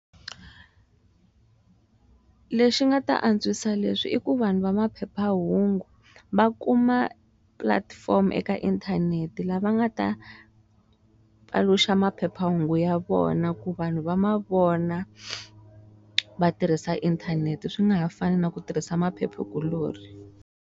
Lexi nga ta antswisa leswi i ku vanhu va maphephahungu va kuma platform eka inthanete lava nga ta paluxa maphephahungu ya vona ku vanhu va mavona vatirhisa inthanete swi nga ha fani na ku tirhisa maphephe kuloni.